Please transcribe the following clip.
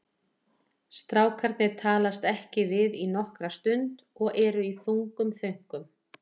Strákarnir talast ekki við í nokkra stund og eru í þungum þönkum.